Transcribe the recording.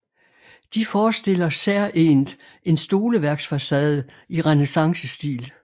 De forestiller særegent en stoleværksfacade i renæssancestil